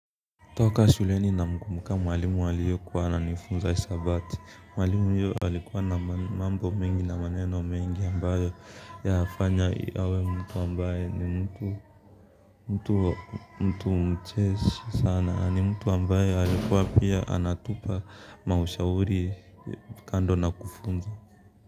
Toka shuleni na mkumbuka mwalimu aliye kuwa ananifunza hesabati mwalimu alikuwa na mambo mingi na maneno mingi ambayo yafanya awe mtu ambaye ni mtu mtu mcheshi sana ni mtu ambaye alikuwa pia anatupa maushauri kando na kufunza.